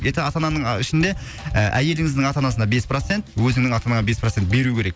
ата ананың ішінде і әйеліңіздің ата анасына бес процент өзіңнің ата анаңа бес процент беру керек